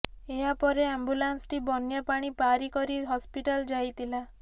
ଏହାପରେ ଆମ୍ବୁଲାନ୍ସଟି ବନ୍ୟା ପାଣି ପାରି କରି ହସ୍ପିଟାଲ ଯାଇଥିଲା